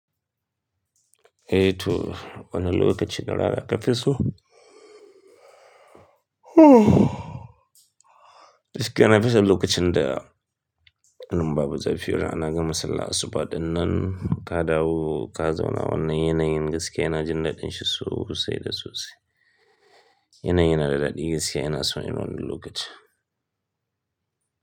Eh to, wana lokaci na rara ƙafi so. Giske yana fito lokacin da babu zafi rana ana gama sallah, asubaɗin nan kadawo, ka zauna wannan yanayin gaskiya ina jin daɗin shi sai da sosi. Yanayin na daɗi gaskiya inaso irinwannan lokacin.